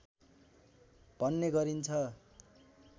भन्ने गरिन्छ